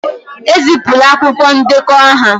Ezipụla akwụkwọ ndekọ aha